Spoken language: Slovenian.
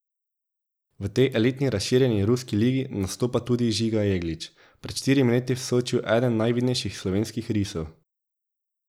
V tej elitni razširjeni ruski ligi nastopa tudi Žiga Jeglič, pred štirimi leti v Sočiju eden najvidnejših slovenskih risov.